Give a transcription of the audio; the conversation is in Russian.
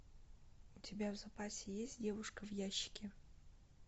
у тебя в запасе есть девушка в ящике